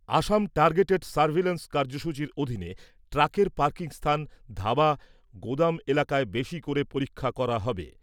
অসম targeted surveillance কার্য্যসূচীর অধীনে ট্রাকের পার্কিং স্থান ধাবা, গুদাম এলাকায় বেশী করে পরীক্ষা করা হবে।